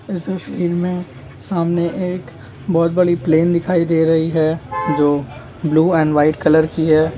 इस तस्वीर में सामने एक बहुत बड़ी प्लेन दिखाई दे रही है जो ब्लू एंड वाईट कलर की है।